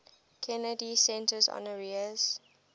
kennedy center honorees